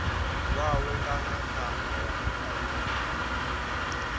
wawe kana thama ya mualuwa